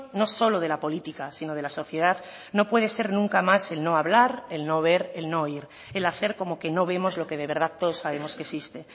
no solo de la política sino de la sociedad no puede ser nunca más el no hablar el no ver el no oír el hacer como que no vemos lo que de verdad todos sabemos que existe